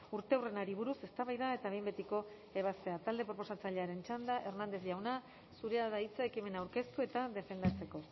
urteurrenari buruz eztabaida eta behin betiko ebazpena talde proposatzailearen txanda hernández jauna zurea da hitza ekimena aurkeztu eta defendatzeko